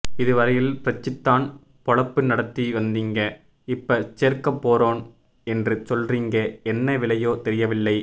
இதுவரையில் பிரிச்சித்தான் பொளப்பு நடத்தி வந்தீங்க இப்ப சேர்கப்போறம் என்று சொல்றீங்க என்ன விலையோ தெரியவில்லை